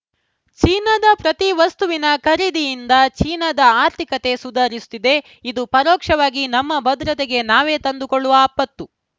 ಚೀನಾದ ಪ್ರತಿ ವಸ್ತುವಿನ ಖರೀದಿಯಿಂದ ಚೀನಾದ ಆರ್ಥಿಕತೆ ಸುಧಾರಿಸುತ್ತಿದೆ ಇದು ಪರೋಕ್ಷವಾಗಿ ನಮ್ಮ ಭದ್ರತೆಗೆ ನಾವೇ ತಂದುಕೊಳ್ಳುವ ಆಪತ್ತು